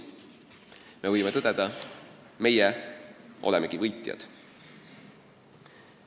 Me võime tõdeda: me oleme võitjad.